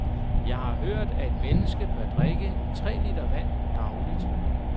Jeg har hørt, at et menneske bør drikke tre liter vand dagligt.